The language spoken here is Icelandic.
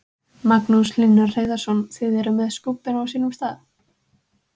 Magnús Hlynur Hreiðarsson: Þið eruð með skúbbin á sínum stað?